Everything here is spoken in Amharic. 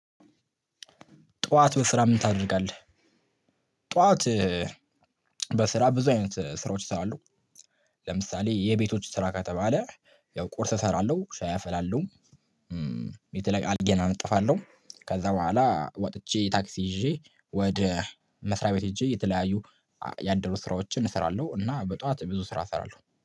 ጠዋት በስራ ምን ታደርጋለህ? ጠዋት በስራ ብዙ አይነት ስራዎች እሰራለሁ። ለምሳሌ የቤቶች ስራ ከተባለ ያው ቁርስ እሰራለሁ ሻይ አፍላለሁ። አልጋየን አነጥፋለሁ ከዛ ቡሃላ ውጥቼ ታክሲ ይዠ ወደ መስሪያ ቤት ሂጄ የተለያዩ ያደሩ ስራዎችን እሰራለሁ። እና በጧት ብዙ ስራ እሰራለሁ